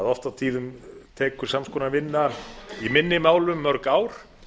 oft og tíðum tekur sams konar vinna í minni málum mörg ár